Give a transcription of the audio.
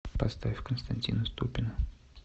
поставь константина ступина